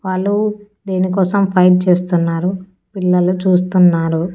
వాళ్ళు దేనికోసం ఫైట్ చేస్తున్నారు పిల్లలు చూస్తున్నారు.